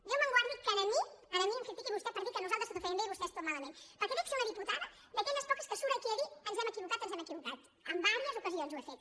déu em guardi que a mi a mi em critiqui vostè per dir que nosaltres tot ho fèiem bé i vostès tot malament perquè dec ser una diputada d’aquelles poques que surt aquí a dir ens em equivocat ens hem equivocat en diverses ocasions ho he fet